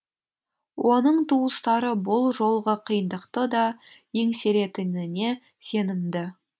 оның туыстары бұл жолғы қиындықты да еңсеретініне сенімді